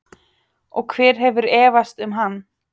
Og hver hefur efast um hann?